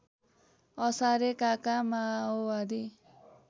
असारे काका माओवादी